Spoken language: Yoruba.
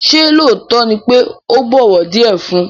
Ṣé lóòótọ́ ni pé ò bọ̀wọ̀ díẹ̀ fun?